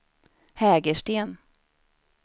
Hägersten